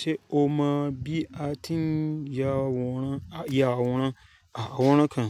Ṣé o mọ bí a ti ń ya àwòrán, ya àwòrán, àwòràn kan?